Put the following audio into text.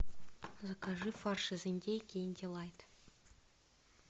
закажи фарш из индейки инди лайт